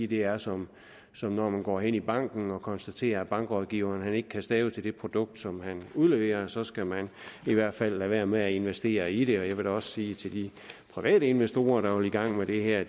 det er som som når man går hen i banken og konstaterer at bankrådgiveren ikke kan stave til det produkt som han udleverer og så skal man i hvert fald lade være med at investere i det jeg vil da også sige til de private investorer der vil i gang med det her at